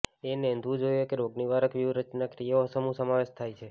એ નોંધવું જોઇએ રોગનિવારક વ્યૂહરચના ક્રિયાઓ સમૂહ સમાવેશ થાય છે